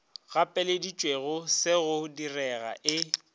gapeleditšego se go direga e